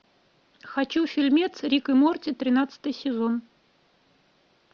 хочу фильмец рик и морти тринадцатый сезон